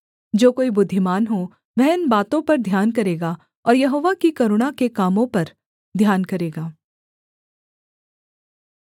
जो कोई बुद्धिमान हो वह इन बातों पर ध्यान करेगा और यहोवा की करुणा के कामों पर ध्यान करेगा